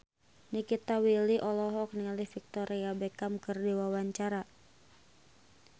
Nikita Willy olohok ningali Victoria Beckham keur diwawancara